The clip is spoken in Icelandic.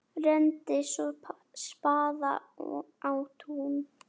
Renndi svo spaða á tíuna.